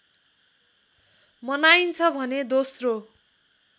मनाइन्छ भने दोस्रो